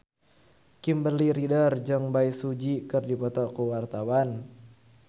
Kimberly Ryder jeung Bae Su Ji keur dipoto ku wartawan